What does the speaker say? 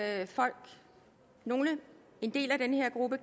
at folk nogle en del af den her gruppe